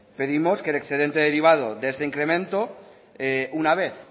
pedimos que el excedente derivado de ese incremento una vez